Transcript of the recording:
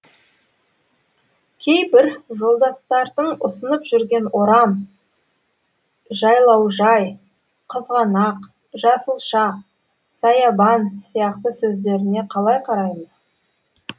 кейбір жолдастардың ұсынып жүрген орам жайлаужай қызғанақ жасылша саябан сияқты сөздеріне қалай қараймыз